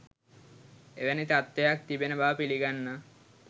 එවැනි තත්වයක් තිබෙන බව පිළිගන්නා